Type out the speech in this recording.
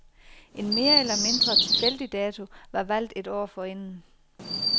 En mere eller mindre tilfældig dato var valgt et år forinden.